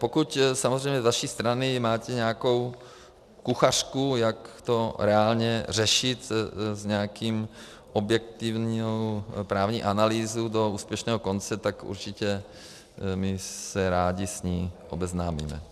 Pokud samozřejmě z vaší strany máte nějakou kuchařku, jak to reálně řešit s nějakou objektivní právní analýzou do úspěšného konce, tak určitě my se rádi s ní obeznámíme.